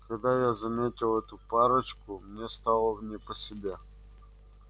когда я заметил эту парочку мне стало не по себе